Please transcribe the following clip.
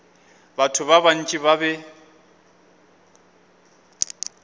batho ba bantši ba be